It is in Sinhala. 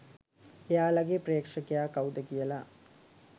එයාලගේ ප්‍රේක්ෂකයා කවුද කියලා.